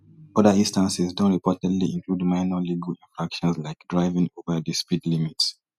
oda instances don reportedly include minor legal infractions like driving over di speed limit